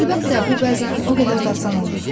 Əlbəttə, bu bəzən o qədər də asan olmur.